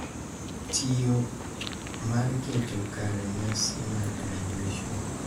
Tiyo mar keto kare nyasi mar graduation.